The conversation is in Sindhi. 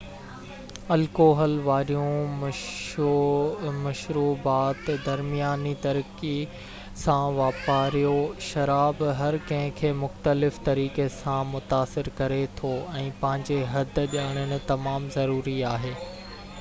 الڪوحل واريون مشروبات درمياني طريقي سان واپرايو شراب هر ڪنهن کي مختلف طريقي سان متاثر ڪري ٿو ۽ پنهنجي حد ڄاڻڻ تمام ضروري آهي